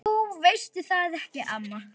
Jú veistu það ekki, amma?